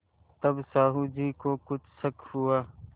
तब साहु जी को कुछ शक हुआ